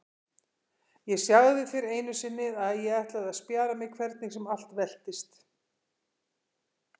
Ég sagði þér einu sinni að ég ætlaði að spjara mig hvernig sem allt veltist.